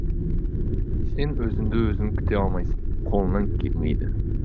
сен өзіңді өзің күте алмайсың қолыңнан келмейді